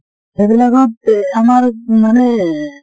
সেইবিলাক ত এহ আমাৰ মানে